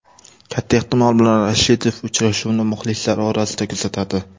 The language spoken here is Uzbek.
Katta ehtimol bilan Rashidov uchrashuvni muxlislar orasida kuzatadi.